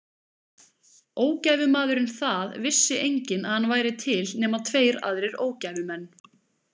Ógæfumaðurinn Það vissi enginn að hann væri til nema tveir aðrir ógæfumenn.